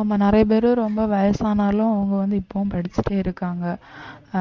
ஆமா நிறைய பேரு ரொம்ப வயசானாலும் அவங்க வந்து இப்பவும் படிச்சுட்டே இருக்காங்க